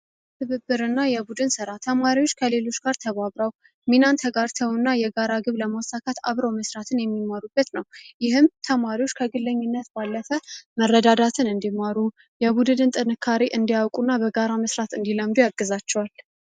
ትብብርና የቡድን ስራ ተማሪዎች ከሌሎች ጋር ሚናንተ ጋር እና የጋራ ግብ ለማሳካት አብሮ መስራትን የሚሟሩበት ነው ይህም ተማሪዎች ከለኝነት መረዳዳትን የቡድን ጥንካሬ እንዲያውቁና በጋራ መስራት ያግዛቸዋል።